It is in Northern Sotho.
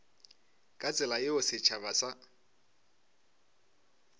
ka tsela yeo setšhaba sa